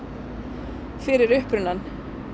fyrir upprunann